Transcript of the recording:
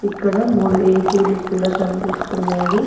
ఇక్కడ మూడు ఏ_సీ లు కూడా కనిపిస్తున్నాయి.